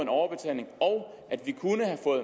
overbetaling og